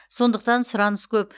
сондықтан сұраныс көп